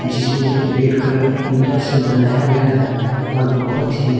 जिसमें red colour का ईंटा से बनाया गया है और बहुत ही--